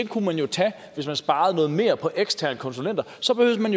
kunne man jo tage ved at spare noget mere på eksterne konsulenter og så behøvede man